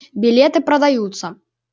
билеты продаются